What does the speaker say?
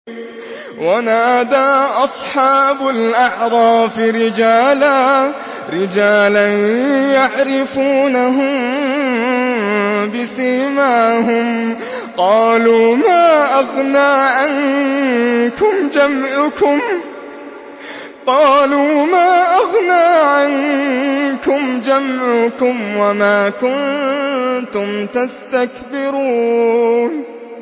وَنَادَىٰ أَصْحَابُ الْأَعْرَافِ رِجَالًا يَعْرِفُونَهُم بِسِيمَاهُمْ قَالُوا مَا أَغْنَىٰ عَنكُمْ جَمْعُكُمْ وَمَا كُنتُمْ تَسْتَكْبِرُونَ